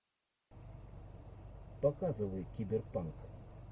показывай киберпанк